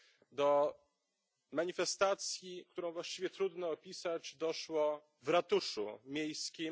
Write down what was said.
Do manifestacji, którą właściwie trudno opisać, doszło w ratuszu miejskim.